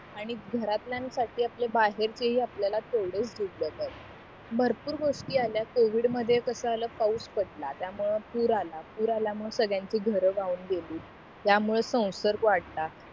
आणि घरातल्यान साठी आपले बाहेरचेही आपल्याला तेवढेच जिवलग आहेत भरपूर गोष्टी आल्या covid मध्ये कस आला पाऊस पढला त्या मुळे पूर आला पूर आल्या मुळे सर्वांची घरे वाहून गेली त्यामुळे स्वंसर्ग वाढला